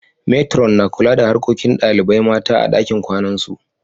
Matron' na kula da harkokin dalibain mata a'ɗakin kwanan su.